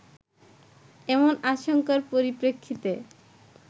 এমন আশঙ্কার পরিপ্রেক্ষিতে